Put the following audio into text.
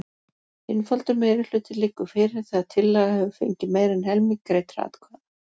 Einfaldur meirihluti liggur fyrir þegar tillaga hefur fengið meira en helming greiddra atkvæða.